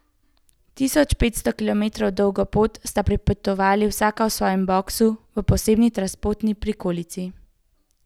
Tisoč petsto kilometrov dolgo pot sta prepotovali vsaka v svojem boksu, v posebni transportni prikolici.